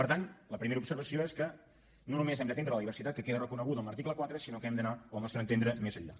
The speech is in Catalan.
per tant la primera observació és que no només hem d’atendre la diversitat que queda reconeguda en l’article quatre sinó que hem d’anar al nostre entendre més enllà